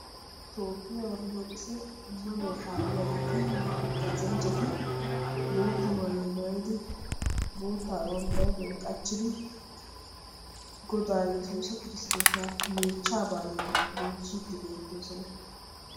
Toophphiya Orttoodokise ammanuwa kaalliyageetinne haggaazanchchati bootta maayuwa maayidi boottaa bantta huuphiyan qachchidi Godaa sesuusa kirsittoosa meechchaa baaliya bonchchiddi beettoosona.